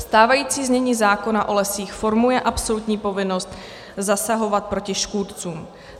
Stávající znění zákona o lesích formuje absolutní povinnost zasahovat proti škůdcům.